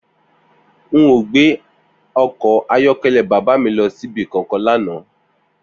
N ò gbé o̩kò̩ ayó̩ké̩lé̩ bàbá mi lo̩ sí ibi kankan lánàá